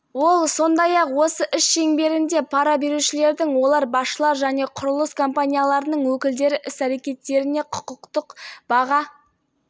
берілгенін айтты тараз орал және павлодар қалаларында жалдамалы тұрғын үй салған бес құрылыс компаниясының басшылары